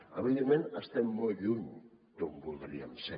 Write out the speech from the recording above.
evidentment estem molt lluny d’on voldríem ser